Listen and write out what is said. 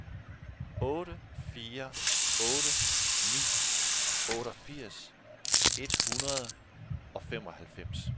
otte fire otte ni otteogfirs et hundrede og femoghalvfems